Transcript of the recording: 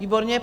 Výborně.